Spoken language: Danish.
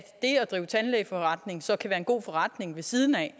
drive tandlægeforretning så kan være en god forretning ved siden af